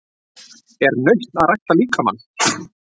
Er nautn að rækta líkamann?